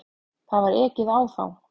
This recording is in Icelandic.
Það var ekið á þá.